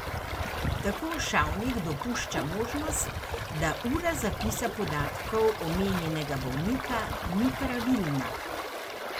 Tako Šavnik dopušča možnost, da ura zapisa podatkov omenjenega bolnika ni pravilna.